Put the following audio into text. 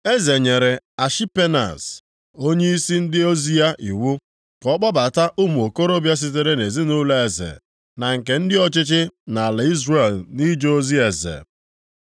Eze nyere Ashipenaz, onyeisi ndị ozi ya iwu ka ọ kpọbata ụmụ okorobịa sitere nʼezinaụlọ eze na nke ndị ọchịchị nʼala Izrel nʼije ozi eze.